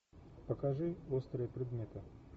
покажи острые предметы